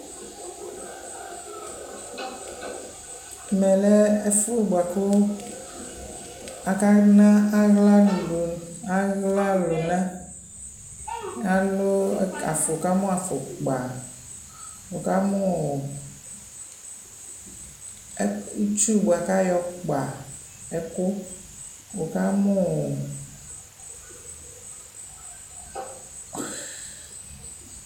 Ɛmɛ lɛ ɛfʋ bʋa kʋ aka na aɣlanu, aɣla lʋna, alʋʋ, wʋ ka mʋ afukpa, wʋ ka mʋʋitsuu bʋa kʋ ayɔ kpa ɛkʋ, wʋ ka mʋʋ